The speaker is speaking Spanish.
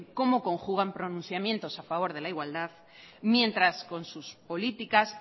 cómo conjugan pronunciamientos a favor de la igualdad mientras con sus políticas